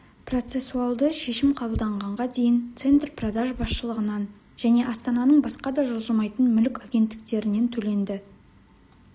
проецессуалды шешім қабылдағанға дейін центр продаж басшылығынан және астананың басқа да жылжымайтын мүлік агенттіктерінен төленді